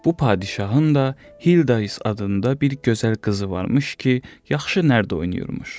Bu padşahın da Hildi is adında bir gözəl qızı var imiş ki, yaxşı nərd oynayırmış.